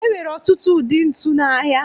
E nwere ọtụtụ ụdị ntu n'ahịa